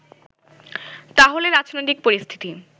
তাহলে রাজনৈতিক পরিস্থিতি